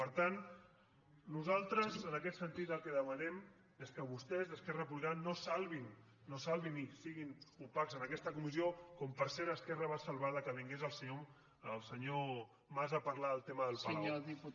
per tant nosaltres en aquest sentit el que demanem és que vostès esquerra republicana no salvin ni siguin opacs en aquesta comissió com per cert esquerra va salvar que vingués el senyor mas a parlar del tema del palau